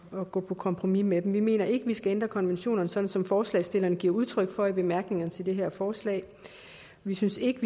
at gå på kompromis med dem vi mener ikke at man skal ændre konventionerne sådan som forslagsstillerne giver udtryk for i bemærkningerne til det her forslag vi synes ikke